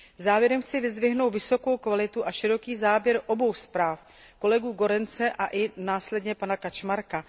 Závěrem chci vyzdvihnout vysokou kvalitu a široký záběr obou zpráv kolegů Goerense a i následně Kaczmarka.